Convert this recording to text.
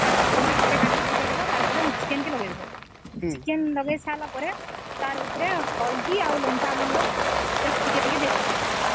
ତାପରେ ଗୋଟେ ଟମାଟୋ ଆଉ ଚିକେନ ପକେଇଦେବ ତାପରେ ହଳଦୀ ଲଙ୍କା ଗୁଣ୍ଡ ପକେଇବା